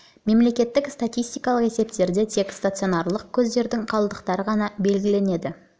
мемлекеттік статистикалық есептерде тек стационарлық көздердің қалдықтары ғана белгіленеді